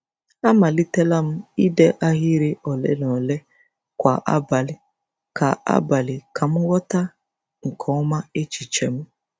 Amalitela m ide ahịrị ole na ole kwa abalị ka abalị ka m ghọta nke ọma echiche m.